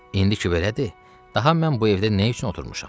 İndi ki belədir, daha mən bu evdə nə üçün oturmuşam?